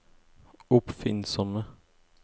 oppfinnsomme